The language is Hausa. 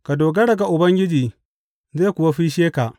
Ka dogara ga Ubangiji, zai kuwa fisshe ka.